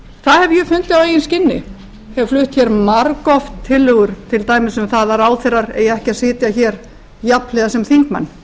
það hef ég fundið á eigin skinni hef flutt hér margoft tillögur til dæmis um það að ráðherrar eigi ekki að sitja hér jafnhliða sem þingmenn